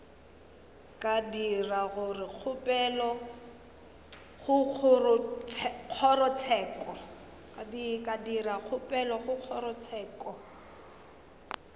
ka dira kgopelo go kgorotsheko